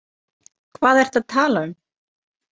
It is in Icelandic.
Hvað ertu að tala um?